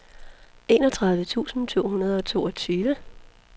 enogtredive tusind to hundrede og toogtyve